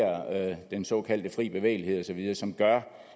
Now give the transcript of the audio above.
den såkaldte fri bevægelighed osv som gør